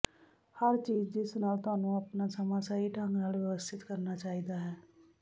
ਹਰ ਚੀਜ਼ ਜਿਸ ਨਾਲ ਤੁਹਾਨੂੰ ਆਪਣਾ ਸਮਾਂ ਸਹੀ ਢੰਗ ਨਾਲ ਵਿਵਸਥਿਤ ਕਰਨਾ ਚਾਹੀਦਾ ਹੈ